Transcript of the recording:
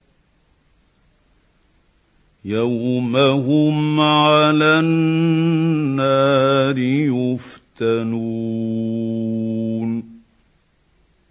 يَوْمَ هُمْ عَلَى النَّارِ يُفْتَنُونَ